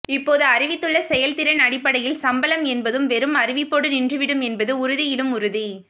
இப்போது அறிவித்துள்ள செயல்திறன் அடிப்படையில் சம்பளம் என்பதும் வெறும் அறிவிப்போடு நின்று விடும் என்பது உறுதியிலும் உறுதி